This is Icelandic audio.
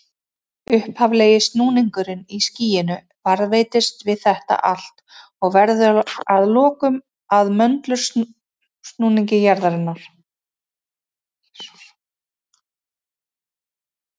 Upphaflegi snúningurinn í skýinu varðveitist við þetta allt og verður að lokum að möndulsnúningi jarðarinnar.